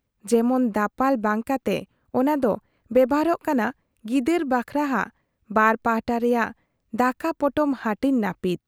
ᱡᱮᱢᱚᱱᱫᱟᱯᱟᱞ ᱵᱟᱝ ᱠᱟᱛᱮ ᱚᱱᱟ ᱫᱚ ᱵᱮᱵᱷᱟᱨᱚᱜ ᱠᱟᱱᱟ ᱜᱤᱫᱟᱹᱨ ᱵᱟᱠᱷᱨᱟ ᱦᱟᱜ ᱵᱟᱨ ᱯᱟᱦᱟᱴᱟ ᱨᱮᱭᱟᱜ ᱫᱟᱠᱟ ᱯᱚᱴᱚᱢ ᱦᱟᱹᱴᱤᱧ ᱱᱟᱹᱯᱤᱛ ᱾